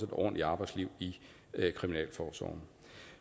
ordentligt arbejdsliv i kriminalforsorgen